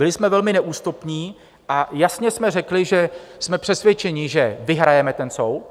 Byli jsme velmi neústupní a jasně jsme řekli, že jsme přesvědčeni, že vyhrajeme ten soud.